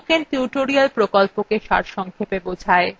এটি spoken tutorial প্রকল্পটি সারসংক্ষেপে বোঝায়